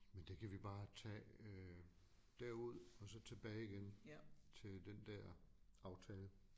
Men det kan vi bare tage øh derud og så tilbage igen til den der aftale